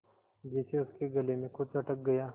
जैसे उसके गले में कुछ अटक गया